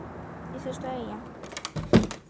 если что я ем